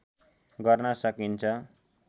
गर्न सकिन्छ